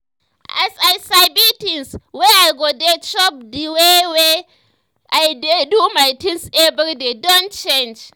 as i sabi things wey i go dey chop the way wey i dey do my things every day don change